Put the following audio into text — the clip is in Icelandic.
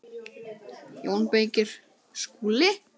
JÓN BEYKIR: Skúli?